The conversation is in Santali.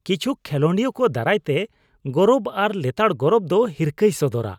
ᱠᱤᱪᱷᱩᱠ ᱠᱷᱮᱞᱳᱰᱤᱭᱟᱹ ᱠᱚ ᱫᱟᱨᱟᱭ ᱛᱮ ᱜᱚᱨᱚᱵ ᱟᱨ ᱞᱮᱛᱟᱲ ᱜᱚᱨᱚᱵ ᱫᱚ ᱦᱤᱨᱠᱟᱹᱭ ᱥᱚᱫᱚᱨᱟ ᱾